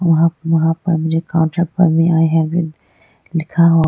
वहां आए हैं वो लिखा हुआ--